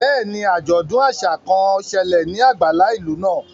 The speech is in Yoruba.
Bẹ́ẹ̀ni, ajọdun aṣa kan n ṣẹlẹ ni agbala ilu naa.